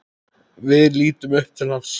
Við litum upp til hans.